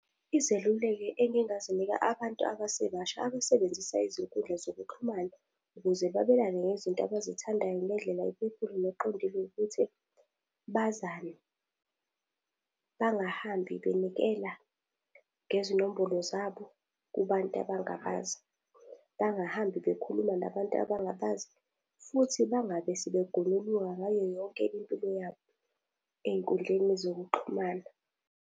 Izeluleko engingazinika abantu abasebasha abasebenzisa izinkundla zokuxhumana ukuze babelane ngezinto abazithandayo ngendlela ephephile neqondile ukuthi, bazane, bangahambi benikela ngezinombolo zabo kubantu abangabazi. Bangahambi bekhuluma nabantu abangabazi, futhi bangabe sebegonyuluka ngayo yonke impilo yabo ey'nkundleni zokuxhumana.